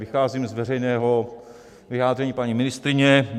Vycházím z veřejného vyjádření paní ministryně.